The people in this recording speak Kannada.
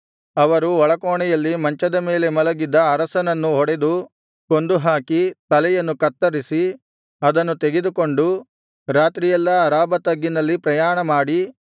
ಅವರು ಒಳಕೋಣೆಯಲ್ಲಿ ಮಂಚದ ಮೇಲೆ ಮಲಗಿದ್ದ ಅರಸನನ್ನು ಹೊಡೆದು ಕೊಂದುಹಾಕಿ ತಲೆಯನ್ನು ಕತ್ತರಿಸಿ ಅದನ್ನು ತೆಗೆದುಕೊಂಡು ರಾತ್ರಿಯೆಲ್ಲಾ ಅರಾಬಾ ತಗ್ಗಿನಲ್ಲಿ ಪ್ರಯಾಣಮಾಡಿ